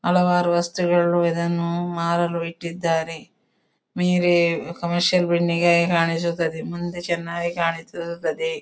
ಹಲವಾರು ವಸ್ತುಗಳು ಇದನ್ನು ಮಾರಲು ಇಟ್ಟಿದ್ದಾರೆ ಕಮರ್ಶಿಯಲ್ ಬಿಲ್ಡಿಂಗ್ ಹಾಗೆ ಕಾಣಿಸುತ್ತದೆ ಮುಂದೆ ಚೆನ್ನಾಗಿ ಕಾಣಿಸುತ್ತದೆ.